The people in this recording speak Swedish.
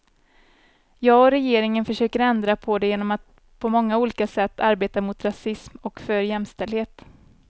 Jag och regeringen försöker ändra på det genom att på många olika sätt arbeta mot rasism och för jämställdhet.